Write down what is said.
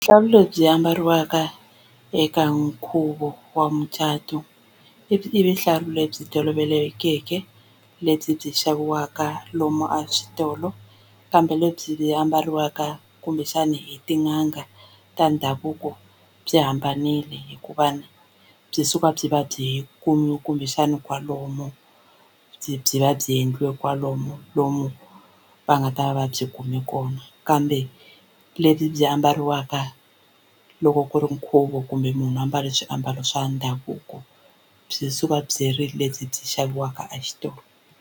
Vuhlalu lebyi ambariwaka eka nkhuvo wa mucato i i vuhlalo lebyi tolovelekeke lebyi byi xaviwaka lomu a switolo kambe lebyi byi ambariwaka kumbexana hi tin'anga ta ndhavuko byi hambanile hikuva ni byi suka byi va byi kumbexana kwalomu byi byi va byi endliwe kwalomu lomu va nga ta va va byi kume kona kambe lebyi byi ambariwaka loko ku ri nkhuvo kumbe munhu ambale swiambalo swa ndhavuko byi suka byi ri lebyi byi xaviwaka exitolo.